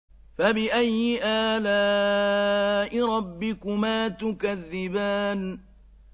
فَبِأَيِّ آلَاءِ رَبِّكُمَا تُكَذِّبَانِ